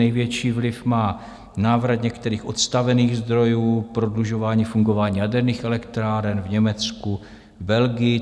Největší vliv má návrat některých odstavených zdrojů, prodlužování fungování jaderných elektráren v Německu, Belgii.